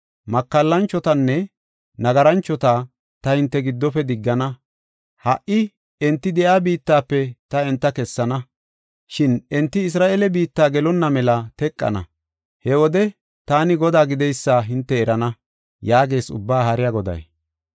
Makallanchotanne nagaranchota ta hinte giddofe diggana; ha77i enti de7iya biittafe ta enta kessana. Shin enti Isra7eele biitta gelonna mela teqana; he wode taani Godaa gideysa hinte erana” yaagees Ubbaa Haariya Goday.